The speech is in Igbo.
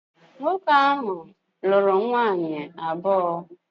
Nwoke ahu lulu nwaanyi abuo